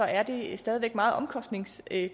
er det stadig væk meget omkostningstungt at